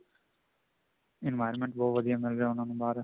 environment ਬਹੁਤ ਵਧੀਆ ਮਿਲਦਾ ਉਹਨਾ ਨੂੰ ਬਾਹਰ